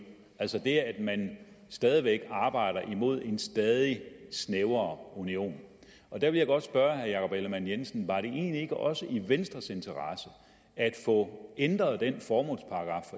altså det at man stadig væk arbejder mod en stadig snævrere union der vil jeg godt spørge herre jakob ellemann jensen var det egentlig ikke også i venstres interesse at få ændret den formålsparagraf